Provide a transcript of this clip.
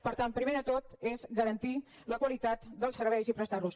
per tant primer de tot és garantir la qualitat dels serveis i prestar los